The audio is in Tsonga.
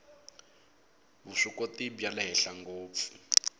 vuswikoti bya le henhla ngopfu